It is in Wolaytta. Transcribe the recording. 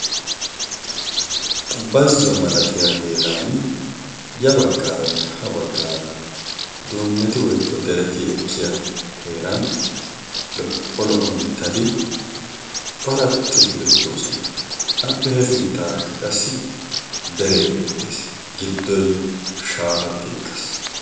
bazzo malatiya heeran ya baggaaranne ha baggaara duunneti woikko dereti ekkiya heeran lo77o mittati curattidi beetto osona appe hefinttaarakka qassi deree beettees giddoi shaafatti ekkas